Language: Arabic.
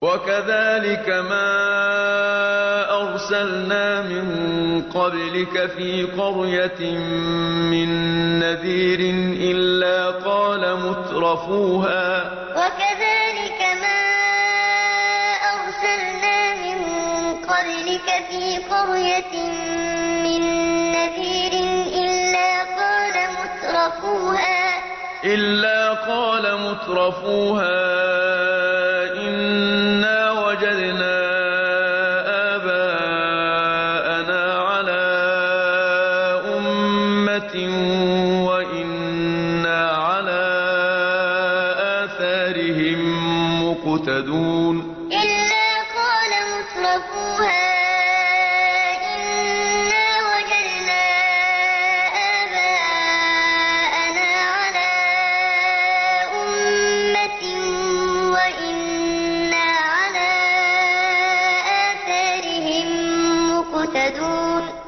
وَكَذَٰلِكَ مَا أَرْسَلْنَا مِن قَبْلِكَ فِي قَرْيَةٍ مِّن نَّذِيرٍ إِلَّا قَالَ مُتْرَفُوهَا إِنَّا وَجَدْنَا آبَاءَنَا عَلَىٰ أُمَّةٍ وَإِنَّا عَلَىٰ آثَارِهِم مُّقْتَدُونَ وَكَذَٰلِكَ مَا أَرْسَلْنَا مِن قَبْلِكَ فِي قَرْيَةٍ مِّن نَّذِيرٍ إِلَّا قَالَ مُتْرَفُوهَا إِنَّا وَجَدْنَا آبَاءَنَا عَلَىٰ أُمَّةٍ وَإِنَّا عَلَىٰ آثَارِهِم مُّقْتَدُونَ